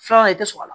Filanan i tɛ sɔn a la